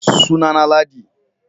suna na na Ladi